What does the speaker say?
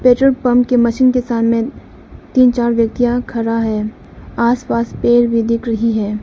Petrol pump की machine के सामने तीन चार व्यक्तियाँ खड़ा है आस पास पेड़ भी दिख रही है।